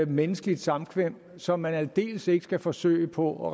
menneskeligt samkvem som man aldeles ikke skal forsøge på at